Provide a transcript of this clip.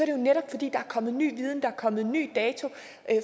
jo netop fordi der er kommet ny viden fordi der er kommet en ny dato